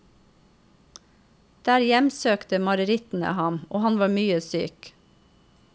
Der hjemsøkte marerittene ham, og han var mye syk.